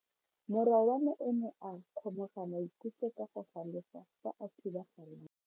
Morwa wa me o ne a kgomoga maikutlo ka go galefa fa a thuba galase.